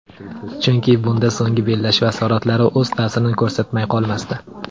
Chunki bunda so‘nggi bellashuv asoratlari o‘z ta’sirini ko‘rsatmay qolmasdi.